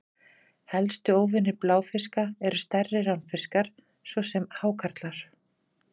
Helstu óvinir bláfiska eru stærri ránfiskar, svo sem hákarlar.